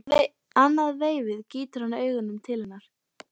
Annað veifið gýtur hann augunum til hennar.